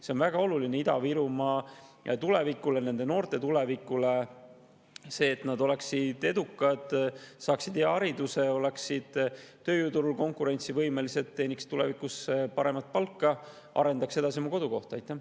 See on väga oluline Ida-Virumaa tulevikule ja sealsete noorte tulevikule, et nad oleksid edukad, saaksid hea hariduse, oleksid tööjõuturul konkurentsivõimelised, teeniks tulevikus paremat palka ja arendaks oma kodukohta edasi.